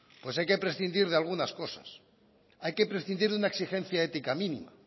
pues hay que prescindir de algunas cosas hay que prescindir de una exigencia ética mínima